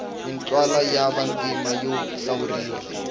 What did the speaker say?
mintlawa ya vantima yo hlawuriwa